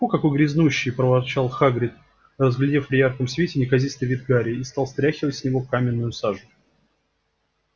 фу какой грязнущий проворчал хагрид разглядев при ярком свете неказистый вид гарри и стал стряхивать с него каминную сажу